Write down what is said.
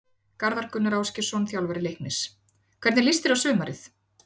Garðar Gunnar Ásgeirsson, þjálfari Leiknis Hvernig líst þér á sumarið?